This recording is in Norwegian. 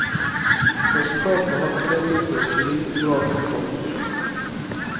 Resultatene hadde på det tidspunkt i liten grad nådd offentligheten.